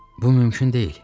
Bu mümkün deyil.